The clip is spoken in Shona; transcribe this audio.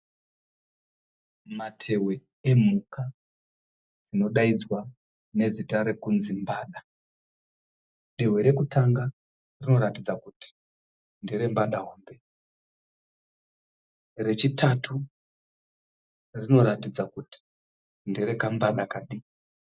Matehwe emhuka dzinodaidzwa nezita rekunzi mbada dehwe rekutanga rinoratidza kuti nderembada hombe rechitatu rinoratidza kuti nderekambada kadiki